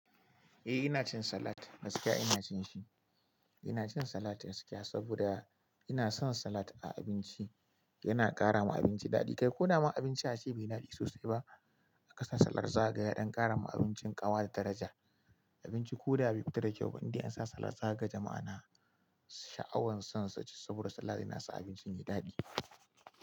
Eh ina cin salat, gaskiya ina cin shi. Ina cin salat gaskiya saboda ina son salat a abinci. Yana ƙara ma abinci daɗi. Kai ko dama abincin ace bai daɗe sosai ba aka sa salat zaga ya don ƙara ma abincin ƙawa da daraja. Abinci ko da ba fita da kyau ba idan an sa salat zakaga jama'a na sha'awan san suci saboda salat yana sa abinci yayi daɗi.